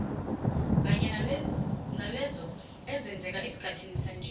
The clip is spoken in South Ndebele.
kanye nalezo ezenzeka esikhathini sanje